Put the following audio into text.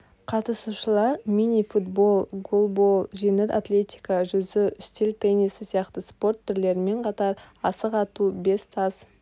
қатысушылар мини-футбол голбол жеңіл атлетика жүзу үстел теннисі сияқты спорт түрлерімен қатар асық ату бес тас